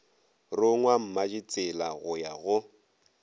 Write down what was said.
rongwa mmaditsela go ya go